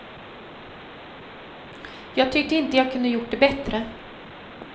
Jag tyckte inte jag kunde gjort det bättre.